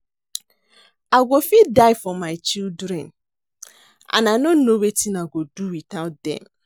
I go fit die for my children and I no know wetin I go do without dem